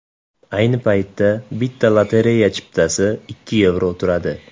Ayni paytda bitta lotereya chiptasi ikki yevro turadi.